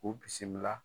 K'u bisimila